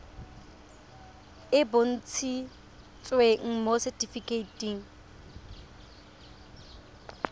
e e bontshitsweng mo setifikeiting